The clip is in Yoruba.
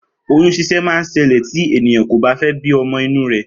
Oyún ṣíṣẹ́ ma ṣẹlẹ̀ tí ènìyàn kò bá fé bí ọmọ inú rè